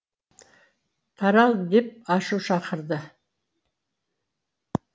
тарал деп ашу шақырады